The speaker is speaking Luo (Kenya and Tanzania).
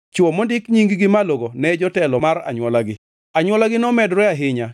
Chwo mondik nying-gi malogo ne jotelo mar anywolagi. Anywolagi nomedore ahinya